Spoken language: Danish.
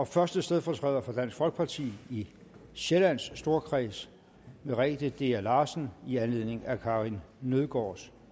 første stedfortræder for dansk folkeparti i sjællands storkreds merete dea larsen i anledning af karin nødgaards